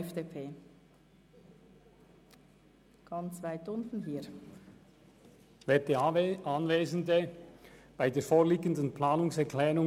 Ich bin nicht der alleinige Urheber der vorliegenden Planungserklärung.